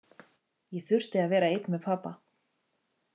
Ég þurfti að vera einn með pabba.